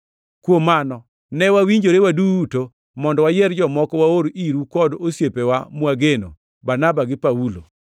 Kuom mano, ne wawinjore waduto mondo wayier jomoko waor iru kod osiepewa mwageno, Barnaba gi Paulo,